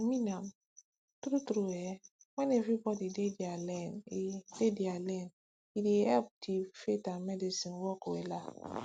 imean am tru tru eh wen everybodi dey dia lane e dia lane e dey epp di faith and medicine work wella